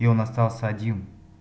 и он остался один